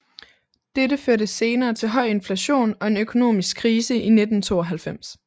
Dette førte senere til høj inflation og en økonomisk krise i 1992